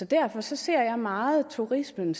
derfor ser jeg meget turismen